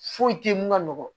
Foyi te ye mun ka nɔgɔn